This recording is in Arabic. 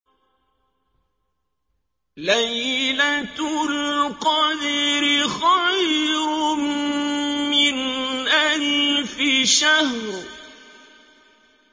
لَيْلَةُ الْقَدْرِ خَيْرٌ مِّنْ أَلْفِ شَهْرٍ